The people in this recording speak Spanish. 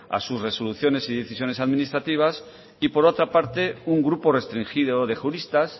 a sus resoluciones y decisiones administrativas y por otra parte un grupo restringido de juristas